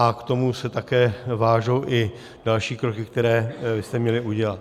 A k tomu se také váží i další kroky, které jste měli udělat.